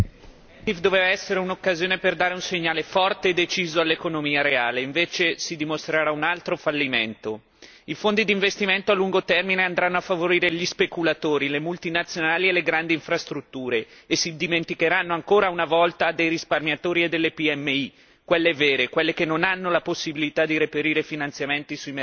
Signor Presidente, onorevoli colleghi, questa doveva essere un'occasione per dare un segnale forte e deciso all'economia reale, invece si dimostrerà un altro fallimento. I fondi d'investimento a lungo termine andranno a favorire gli speculatori, delle multinazionali e delle grandi infrastrutture e si dimenticheranno ancora una volta dei risparmiatori e delle PMI, quelle vere, quelle che non hanno la possibilità di reperire finanziamenti sui mercati dei capitali.